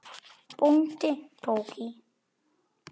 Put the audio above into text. Bóndi tók í.